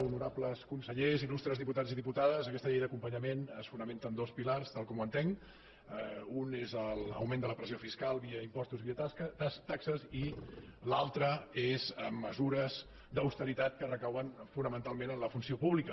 honorables consellers illustres diputats i diputades aquesta llei d’acompanyament es fonamenta en dos pilars tal com ho entenc un és l’augment de la pressió fiscal via impostos i via taxes i l’altre és amb mesures d’austeritat que recauen fonamentalment en la funció pública